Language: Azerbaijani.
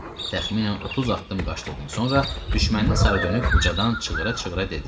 Təxminən 30 addım qaçdıqdan sonra düşməndən sarı dönüb ucadan çığıra-çığıra dedi: